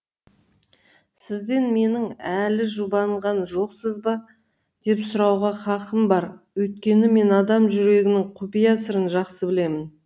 сізден менің әлі жұбанған жоқсыз ба деп сұрауға хақым бар өйткені мен адам жүрегінің құпия сырын жақсы білемін